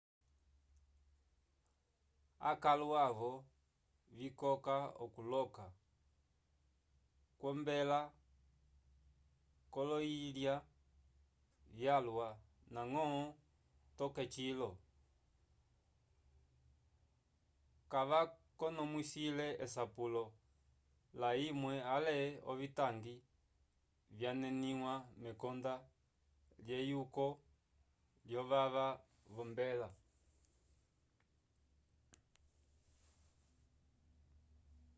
akalo avo vikoka okuloka kwombela k'oloyilya vyalwa ndañgo toke cilo kavakonomwisile esapulo layimwe ale ovitangi vyaneniwa mekonda lyeyuko lyovava v'ombela